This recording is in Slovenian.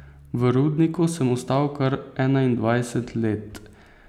V rudniku sem ostal kar enaindvajset let.